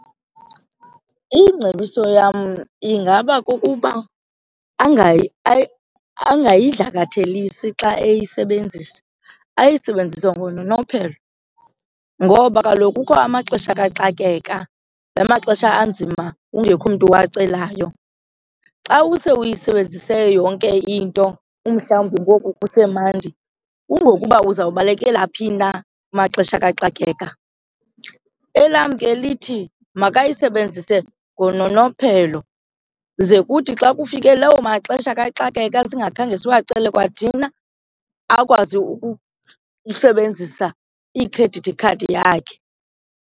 Ingcebiso yam ingaba kukuba angayidlakathelisi xa eyisebenzisa, ayisebenzise ngononophelo ngoba kaloku kukho amaxesha kaxakeka, laa maxesha anzima kungekho mntu uwacelayo. Xa use uyisebenzise yonke into umhlawumbi ngoku kusemandi kungokuba uzawubalekela phi na kumaxesha kaxakeka. Elam ke lithi makayisebenzise ngononophelo ze kuthi xa kufike lawo maxesha kaxakeka singakhange siwacele kwathina akwazi ukusebenzisa ikhredithi khadi yakhe.